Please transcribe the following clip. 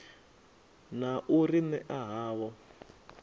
na u ri ṅea havho